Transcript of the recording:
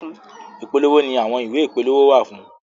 Ipolowo ni àwọn ìwé ìpolówó wà fún.